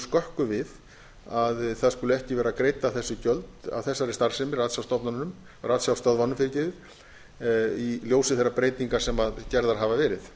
skökku við að ekki skulu vera greidd af þessari starfsemi ratsjárstöðvunum í ljósi þeirra breytinga sem gerðar hafa verið